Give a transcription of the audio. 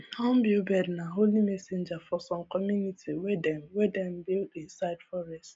hornbill bird nah holy messenger for some community wey dem wey dem build inside forest